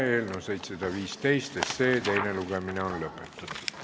Eelnõu 715 teine lugemine on lõppenud.